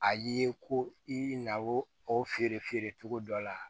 A ye ko i na o feere feere cogo dɔ la